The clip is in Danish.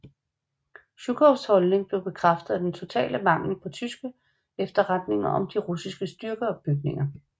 Zjukovs holdning blev bekræftet af den totale mangel på tyske efterretninger om de russiske styrkeopbygninger